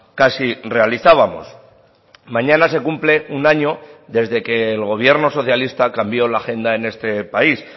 casi realizábamos mañana se cumple un año desde que el gobierno socialista cambio la agenda en este país